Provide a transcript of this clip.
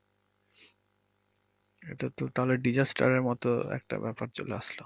এটাতো তাহলে disaster এর মতো একটা ব্যাপার চলে আসলো।